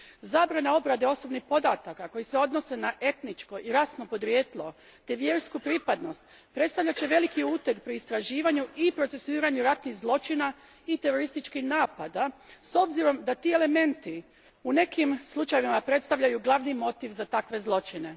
Zabrana obrade osobnih podataka koji se odnose na etničko i rasno podrijetlo te vjersku pripadnost predstavljat će veliki uteg pri istraživanju i procesuiranju ratnih zločina i terorističkih napada s obzirom da ti elementi u nekim slučajevima predstavljaju glavni motiv za takve zločine.